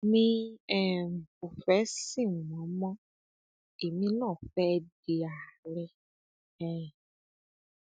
mi um ò fẹ sin wọn mọ èmi náà fẹ di àárẹ um